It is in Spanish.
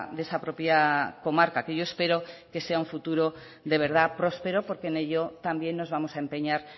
de esa propia comarca que yo espero que sea un futuro de verdad próspero porque en ello también nos vamos a empeñar